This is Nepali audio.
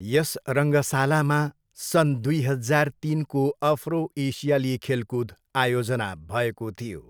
यस रङ्गशालामा सन् दुई हजार तिनको अफ्रो, एसियाली खेलकुद आयोजना भएको थियो।